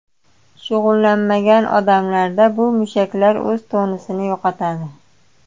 Shug‘ullanmagan odamlarda bu mushaklar o‘z tonusini yo‘qotadi.